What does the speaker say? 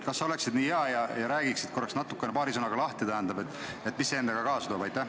Kas sa oleksid nii hea ja räägiksid paari sõnaga lahti, mida see eelnõu endaga kaasa toob?